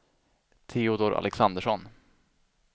Teodor Alexandersson